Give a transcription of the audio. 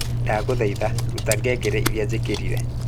ndaguthaitha ruta ngengere iria njikirĩre